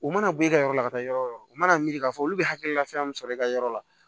U mana bɔ e ka yɔrɔ la ka taa yɔrɔ o yɔrɔ o mana miiri k'a fɔ olu bɛ hakilila fɛn min sɔrɔ i ka yɔrɔ la